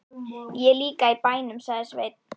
Ég er líka í bænum, sagði Sveinn.